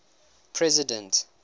president